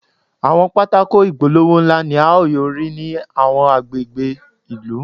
Àwọn pátákó ìpolówó ńlá ni a ó yóò rí ní àwọn agbègbè ìlú.